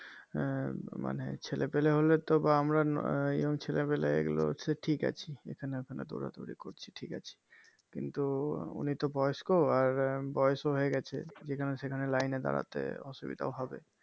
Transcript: এর মানে ছেলে পেলে হলে তো বা আমরা Young ছেলে পেলে এইগুলো ঠিক আছি এখানে ওখানে দৌড়া দৌড়ি করছি ঠিক আছি কিন্তু উনি তো বয়স্ক আর বয়স ও হয়ে গেছে যেখানে সেখানে লাইনে দাঁড়াতে অসুবিধাও হবে